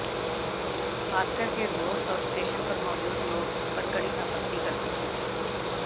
Oscar के दोस्त और स्टेशन पर मौजूद लोग इस पर कड़ी आपत्ति करते हैं